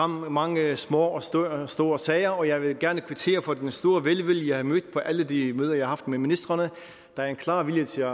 mange små og store sager og jeg vil gerne kvittere for den store velvilje jeg har mødt på alle de møder jeg har haft med ministrene der er en klar vilje til